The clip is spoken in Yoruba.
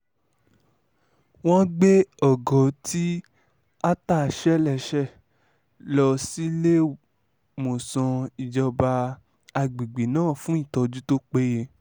wọ́n gbé ògo tí attah ṣe léṣe lọ síléemọ̀sán ìjọba àgbègbè náà fún ìtọ́jú tó péye